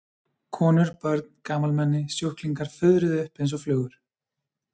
Konur, börn, gamalmenni, sjúklingar fuðruðu upp einsog flugur.